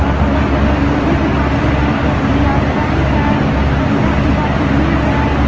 और अगल बगल में भी दुकान है एक एस_बी_आई बैंक है जहां पे काफी भीड़ है।